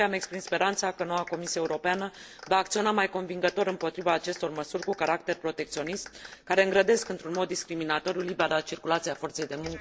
De aceea, îmi exprim speranța că noua Comisie Europeană va acționa mai convingător împotriva acestor măsuri cu caracter protecționist, care îngrădesc într un mod discriminatoriu libera circulație a forței de muncă în Uniunea Europeană